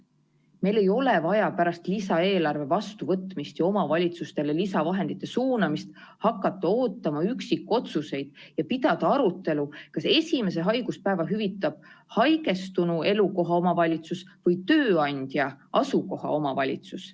Meil ei ole vaja pärast lisaeelarve vastuvõtmist ja omavalitsustele lisavahendite suunamist hakata ootama üksikotsuseid ja pidada arutelu, kas esimese haiguspäeva hüvitab haigestunu elukoha omavalitsus või tööandja asukoha omavalitsus.